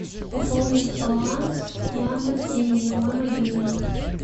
пополнить баланс яндекс деньги мой мобильный